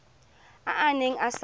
a a neng a sa